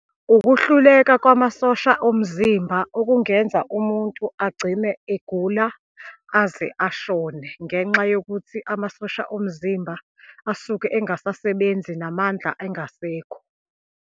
Ukuhluleka kwamasosha omzimba okungenza umuntu agcine egula, aze ashone ngenxa yokuthi amasosha omzimba asuke engasasebenzi, namandla engasekho.